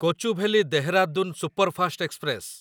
Kochuveli Dehradun superfast express